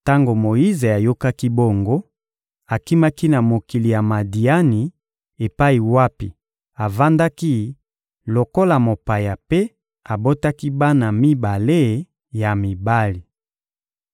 Tango Moyize ayokaki bongo, akimaki na mokili ya Madiani epai wapi avandaki lokola mopaya mpe abotaki bana mibale ya mibali.